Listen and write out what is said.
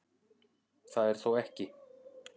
Það er þó ekki